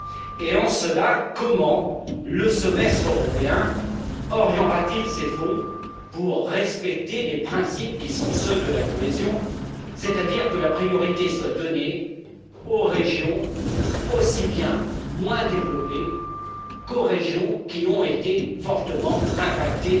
Et, en cela, comment le Semestre européen orientera t il ces fonds pour respecter les principes qui sont ceux de la cohésion, c'est à dire que la priorité soit donnée aux régions aussi bien moins développées qu'aux régions qui ont été fortement impactées